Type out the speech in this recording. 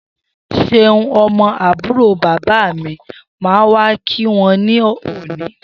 Seun, õmõ ábùró bàbá mi máa wá kí wa ní òní